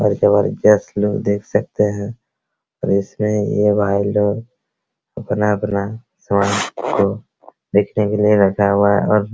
और जबरदस्त लोग देख सकते हैं रेस में ये भाई लोग अपना अपना सामान को देखने के लिए रखा हुआ है और --